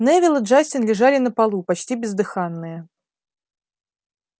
невилл и джастин лежали на полу почти бездыханные